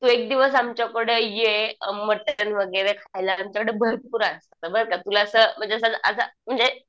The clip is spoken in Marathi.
तू एक दिवस आमच्याकडं ये मटण वगैरे खायला आमच्याकडं भरपूर आहे. बरं तुला असं म्हणजे असं म्हणजे